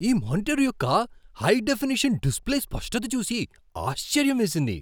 ఈ మానిటర్ యొక్క high definition display స్పష్టత చూసి ఆశ్చర్యం వేసింది.